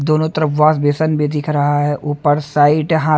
दोनों तरफ wash basin भी दिख रहा है ऊपर साइड हा--